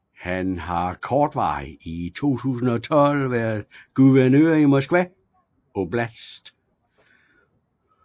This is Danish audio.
Han har kortvarigt i 2012 været guvernør i Moskva oblast